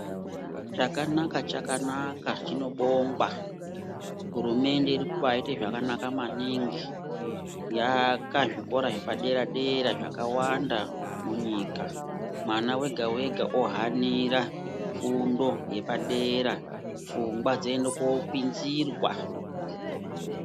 Chakanaka-chakanaka chinobongwa hurumende iri kubaite zvakanaka maningi yaaka zvikora zvepadera-dera zvakawanda munyika. Mwana vege-vega vohanira fundo yapadera pfungwa dzoende kopinzirwa.